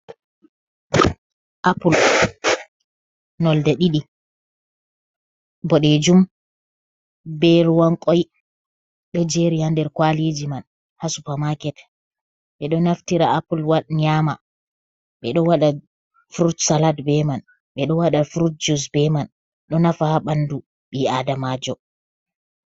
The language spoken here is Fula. apple, nonde didi ,bodejum be ruwan koi , do jeri ha nder kwaliji man, ha supermarket ,be do naftira apple wad nyama be do wada frutsalad be man ,be do wada frut jus be man, do nafa ha bandu bi adamajo.